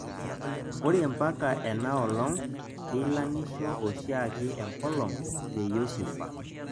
ore mpaka enaolong' keilang'isho oshiake enkolong' te Yosufa